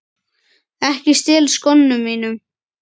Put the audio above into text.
Ekki stela skónum mínum!